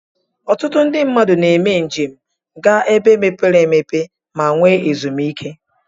Ọtụtụ ndi mmadu na eme njem ga ebe mepere emepe ma enwe ezum ike.